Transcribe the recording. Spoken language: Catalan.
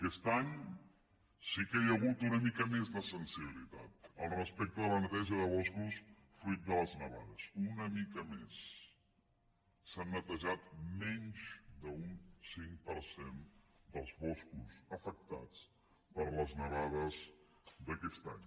aquest any sí que hi ha hagut una mica més de sensibilitat al respecte de la neteja de boscos fruit de les nevades una mica més s’han netejat menys d’un cinc per cent dels boscos afectats per les nevades d’aquest any